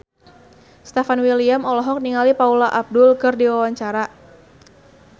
Stefan William olohok ningali Paula Abdul keur diwawancara